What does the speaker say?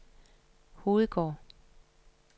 Hovedgård